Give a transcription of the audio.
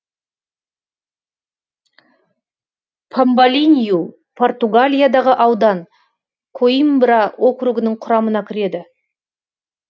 памбалинью португалиядағы аудан коимбра округінің құрамына кіреді